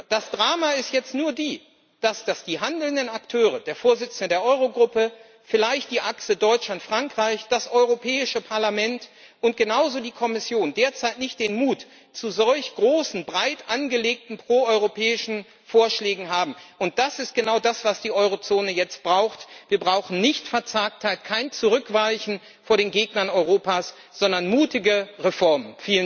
Das Drama ist jetzt nur, dass die handelnden Akteure, der Vorsitzende der Eurogruppe, vielleicht die Achse Deutschland Frankreich, das Europäische Parlament und genauso die Kommission, derzeit nicht den Mut zu solch großen, breit angelegten pro europäischen Vorschlägen haben. Das ist genau das, was die Eurozone jetzt braucht Wir brauchen nicht Verzagtheit, kein Zurückweichen vor den Gegnern Europas, sondern mutige Reformen.